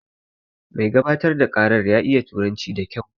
Mai gabatar da ƙaran ya iya turanci da kyau